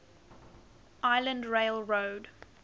island rail road